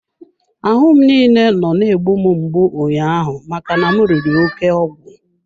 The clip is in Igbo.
Ahụ m niile nọ na-egbu mgbu ụnyaahụ maka na m riri oke ọgwụ.